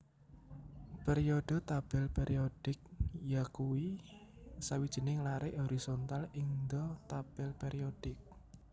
Periode tabel périodik yakuwi sawijining larik horizontal ingda tabel périodik